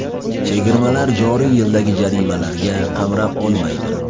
Chegirmalar joriy yildagi jarimalarga qamrab olmaydi.